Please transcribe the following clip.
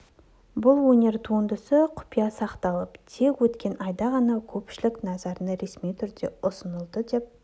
бұл өнер туындысы құпия сақталып тек өткен айда ғана көпшілік назарына ресми түрде ұсынылды деп